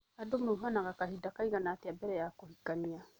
Andũ mauhanaga kahinda kaigana atĩa mbere ya kuhikania